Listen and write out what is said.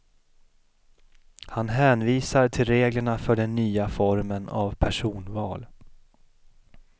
Han hänvisar till reglerna för den nya formen av personval.